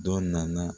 Dɔ nana